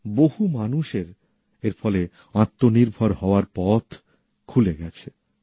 বহু মানুষের এর ফলে আত্মনির্ভর হওয়ার পথ খুলে গেছে